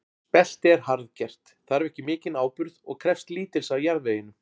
Spelti er harðgert, þarf ekki mikinn áburð og krefst lítils af jarðveginum.